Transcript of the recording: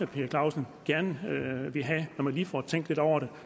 per clausen gerne vil have når han lige får tænkt lidt over det